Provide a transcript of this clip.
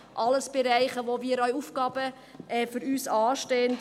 Dies alles sind Bereiche, in welchen für uns Aufgaben anstehen.